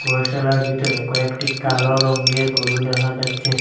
গোশালার ভিতরে কয়েকটি কালো রঙ্গের গরু দেখা যাচ্চে।